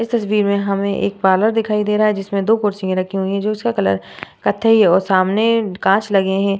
इस तस्वीर में हमें एक पार्लर दिखाई दे रहा है जिसमें दो कुर्सियां रखी हुई हैं जिसका कलर कथई और सामने कांच लगे हैं ।